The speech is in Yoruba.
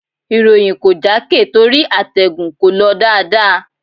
Ìròyìn kò jákè torí àtẹ̀gùn kò lọ dáadáa.